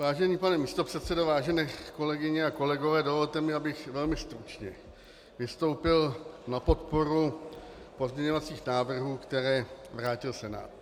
Vážený pane místopředsedo, vážené kolegyně a kolegové, dovolte mi, abych velmi stručně vystoupil na podporu pozměňovacích návrhů, které vrátil Senát.